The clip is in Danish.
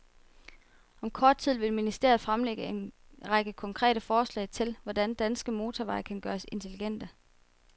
Og om kort tid vil ministeriet fremlægge en række konkrete forslag til, hvordan danske motorveje kan gøres intelligente.